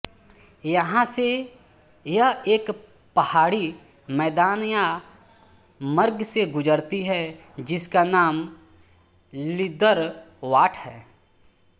यहाँ से यह एक पहाड़ी मैदान या मर्ग से गुज़रती है जिसका नाम लिद्दरवाट है